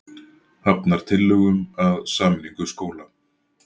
Hafnar tillögum að sameiningu skóla